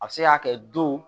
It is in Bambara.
A bɛ se ka kɛ don